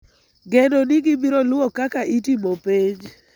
geno ni gibiro luwo kaka itimo penj.